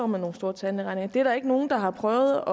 med nogle store tandlægeregninger det er der ikke nogen der har prøvet